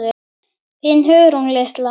Þín Hugrún litla.